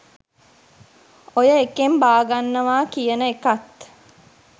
ඔය එකෙන් බාගන්නවා කියන එකත්